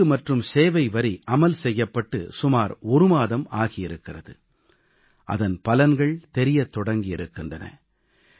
சரக்கு மற்றும் சேவை வரி அமல் செய்யப்பட்டு சுமார் ஒரு மாதம் ஆகி இருக்கிறது அதன் பலன்கள் தெரியத் தொடங்கி இருக்கின்றன